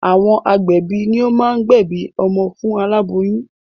Àwọn agbẹ̀bí ni o máa ń gbẹ̀bí ọmọ fún aláboyún